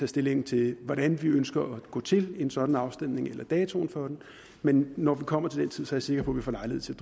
stilling til hvordan vi ønsker at gå til en sådan afstemning eller datoen for den men når vi kommer til den tid er jeg sikker på vi får lejlighed til